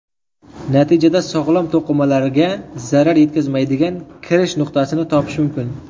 Natijada sog‘lom to‘qimalarga zarar yetkazmaydigan kirish nuqtasini topish mumkin.